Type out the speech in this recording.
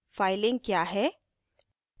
filing क्या है